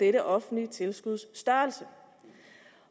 er det offentlige tilskuds størrelse